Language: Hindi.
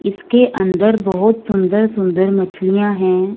इसके अंदर बहुत सुंदर-सुंदर मछलियां हैं।